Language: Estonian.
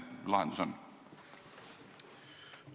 Mis see lahendus on?